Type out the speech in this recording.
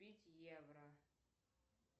купить евро